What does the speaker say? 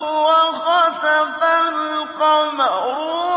وَخَسَفَ الْقَمَرُ